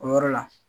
O yɔrɔ la